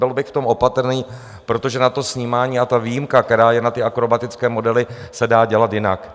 Byl bych v tom opatrný, protože na to snímání - a ta výjimka, která je na ty akrobatické modely - se dá dělat jinak.